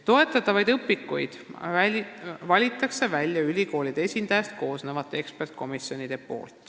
Toetatavad õpikud valivad välja ülikoolide esindajatest koosnevad eksperdikomisjonid.